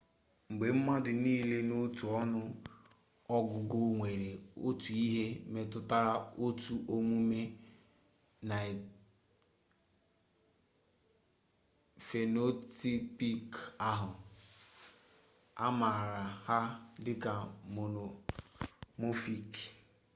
mgbe mmadụ nile n'otu ọnụ ọgụgụ nwere otu ihe metụtara otu omume phenotypic ahụ a maara ha dịka monomorphic